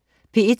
P1: